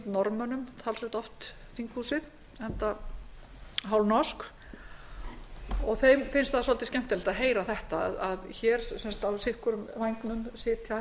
norðmönnum talsvert oft þinghúsið enda hálfnorsk og þeim finnst það svolítið skemmtilegt að heyra þetta að hér á sitt hvorum vængnum sitja